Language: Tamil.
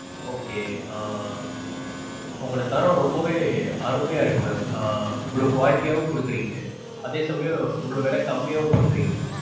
okay ஆஹ் உங்களோட தரம் ரொம்பவே அருமையா இருக்கு ma'am. ஆஹ் இவ்ளோ quality யாவும் கொடுக்கறீங்க அதே சமயம் இவ்ளோ விலை கம்மியாவும் கொடுக்கறீங்க.